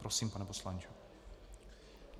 Prosím, pane poslanče.